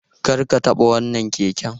Kar ka taɓa wannan keken!